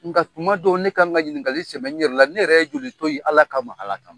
Nka kuma dɔ ne kan ka ɲininkali sɛmɛ ne yɛrɛ la ne yɛrɛ ye joli to ye Ala kama, Ala kama.